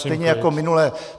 Stejně jako minule.